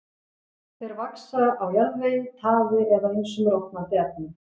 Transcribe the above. Þeir vaxa á jarðvegi, taði eða ýmsum rotnandi efnum.